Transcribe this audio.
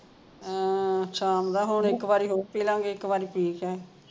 ਹਾਂ ਸ਼ਾਮ ਦਾ ਹੁਣ ਇਕ ਵਰੀ ਹੋਰ ਪਿਲਾਂਗੇ ਇਕ ਵਰੀ ਪੀ ਹਟੇ